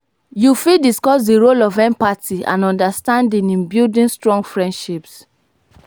yu fit discuss di role of empathy and understanding in building strong freindships.